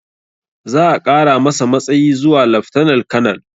Za a ƙara masa matsayi zuwa laftanal kanal